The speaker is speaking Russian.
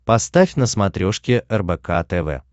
поставь на смотрешке рбк тв